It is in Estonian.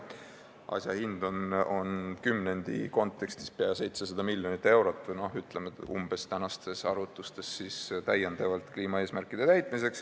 Asja hind on kümnendi kontekstis peaaegu 700 miljonit eurot või, ütleme, umbes nii praeguste arvutuste järgi kliimaeesmärkide täitmiseks.